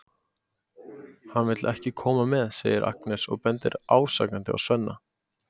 Hann vill ekki koma með, segir Agnes og bendir ásakandi á Svenna.